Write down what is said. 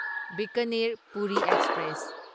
Bikaner Puri express